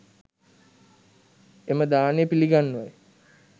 එම දානය පිළිගන්වයි.